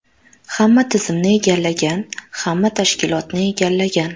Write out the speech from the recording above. Hamma tizimni egallagan, hamma tashkilotni egallagan.